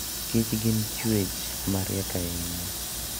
kich gin chwech mariek ahinya.